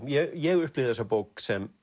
ég upplifði þessa bók sem